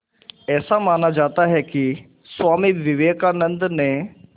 ऐसा माना जाता है कि स्वामी विवेकानंद ने